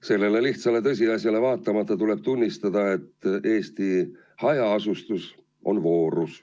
Sellele lihtsale tõsiasjale vaatamata tuleb tunnistada, et Eesti hajaasustus on voorus.